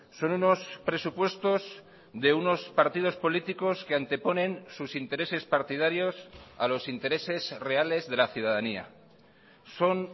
son unos presupuestos de unos partidos políticos que anteponen sus intereses partidarios a los intereses reales de la ciudadanía son